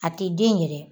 A ti den yɛrɛ